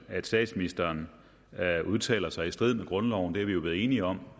at statsministeren udtaler sig i strid med grundloven det er vi jo blevet enige om